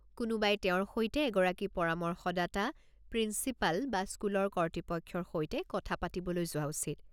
কোনোবাই তেওঁৰ সৈতে এগৰাকী পৰামৰ্শদাতা, প্ৰিঞ্চিপাল বা স্কুলৰ কৰ্তৃপক্ষৰ সৈতে কথা পাতিবলৈ যোৱা উচিত।